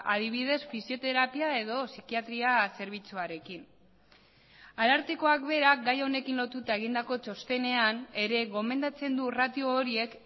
adibidez fisioterapia edo psikiatria zerbitzuarekin arartekoak berak gai honekin lotuta egindako txostenean ere gomendatzen du ratio horiek